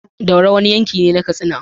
Daura wani yankine na katsina